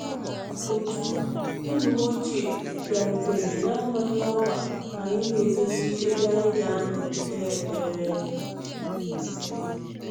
Otu enyim ochie bịarutere na-amaghị ọkwa ka anyị na-edozi ebe anyi ga nọọ kpee ekpere.